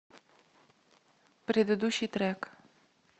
предыдущий трек